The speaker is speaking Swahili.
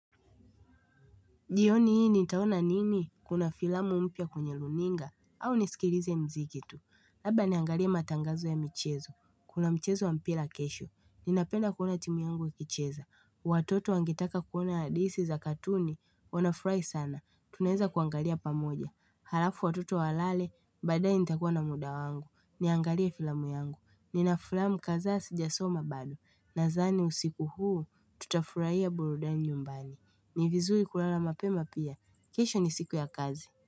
Jioni hii nitaona nini kuna filamu mpya kwenye runinga au nisikilize mzikitu. Labda niangalie matangazo ya michezo. Kuna mchezo wa mpira kesho. Ninapenda kuona timu yangu ikicheza. Watoto wangetaka kuona hadisi za katuni wanafurahi sana. Tunaeza kuangalia pamoja. Halafu watoto walale baadae nitakuwa na muda wangu. Niangalia filamu yangu. Ninafilamu kadhaasi jasoma bado. Nadhani usiku huu tutafurahia burudani nyumbani. Ni vizuri kulala mapema pia. Kisho ni siku ya kazi.